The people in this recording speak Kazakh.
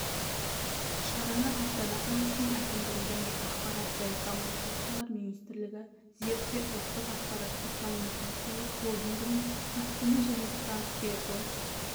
шараны астана қаласының әкімдігі және ақпарат және коммуникациялар министрлігі зерде ұлттық ақпараттық-коммуникациялық холдингінің астана және транстелеком